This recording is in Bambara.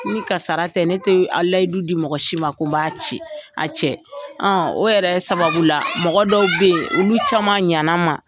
Ni kasarara tɛ ne tɛ a layidu di mɔgɔ si ma ko n b'a cɛ a cɛ ; O yɛrɛ sababu la mɔgɔ dɔw bɛ ye olu caman ɲɛna n man.